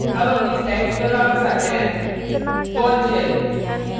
अब अपनी slides पर वापस आते हैं bourne bourne shell